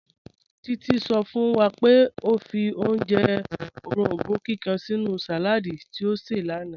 Títí sọ̀ fún wà pé ọ fì ojẹ́ orombó kíkan sínú saládì tí ọ ṣẹ̀ lánà